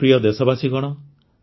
ମୋର ପ୍ରିୟ ଦେଶବାସୀଗଣ